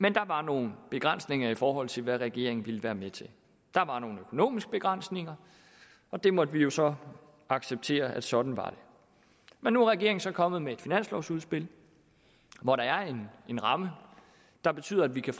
men der var nogle begrænsninger i forhold til hvad regeringen ville være med til der var nogle økonomiske begrænsninger og der måtte vi jo så acceptere at sådan var det men nu er regeringen så kommet med et finanslovsudspil hvor der er en ramme der betyder at vi kan